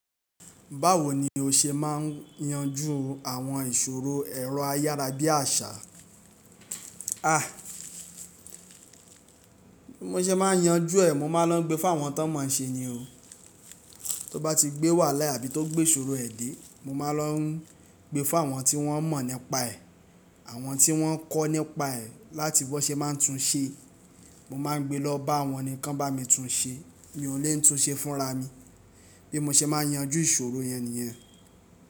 Báwo ni o ṣe máa ń yanjú àwọn ìṣòro ẹ̀rọ ayárabíàṣá? Bí mo ṣe máa ń yanjú ẹ̀, mo máa ń lọ gbé fún àwọn tán mọ̀ ṣe nì o. Tó bá ti gbé wàhálà àbí tó gbé ìṣòro ẹ̀ dé, mo máa ń lọ gbé fún àwọn tí wọ́n mọ̀ nípa ẹ̀, àwọn tí wọ́n kọ́ nípa ẹ̀ láti bí wọ́n ṣe máa ń tún un ṣe. Mo máa ń gbé lọ bá wọn ni, kí wọn bá mi tún un ṣe. Mi ò lè n tún un ṣe fúnra mi. Bí mo ṣe máa ń yanjú ìṣòro yẹn nìyẹn.